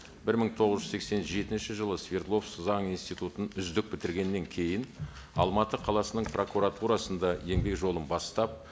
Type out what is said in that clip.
бір мың тоғыз жүз сексен жетінші жылы свердловск заң институтын үздік бітіргеннен кейін алматы қаласының прокуратурасында еңбек жолын бастап